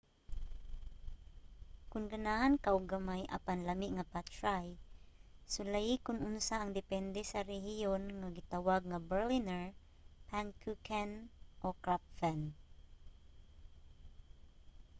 kon ganahan ka og gamay apan lami nga pastri sulayi kon unsa ang depende sa rehiyon nga gitawag nga berliner pfannkuchen o krapfen